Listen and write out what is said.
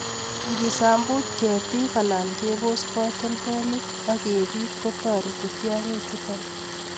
Ingisambut ketik alan kebos katoltolik ok kebiit kotore tiongichuton